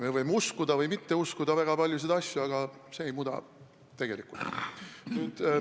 Me võime uskuda või mitte uskuda väga paljusid asju, aga see ei muuda tegelikkust.